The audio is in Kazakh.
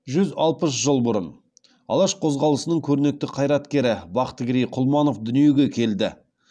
жүз алпыс жыл бұрын алаш қозғалысының көрнекті қайраткері бақтыгерей құлманов дүниеге келді